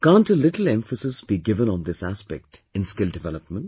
Can't a little emphasis be given on this aspect in Skill development